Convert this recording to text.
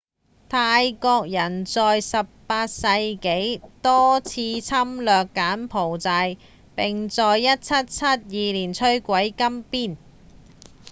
泰國人在18世紀多次侵略柬埔寨並在1772年摧毀金邊